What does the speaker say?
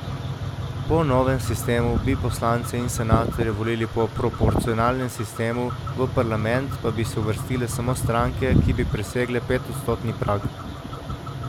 Po novem sistemu bi poslance in senatorje volili po proporcionalnem sistemu, v parlament pa bi se uvrstile samo stranke, ki bi presegle petodstotni prag.